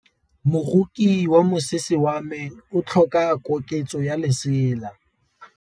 Moroki wa mosese wa me o tlhoka koketsô ya lesela.